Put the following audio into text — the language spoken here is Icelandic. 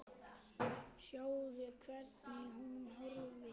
Sjáðu, hvernig hún horfir!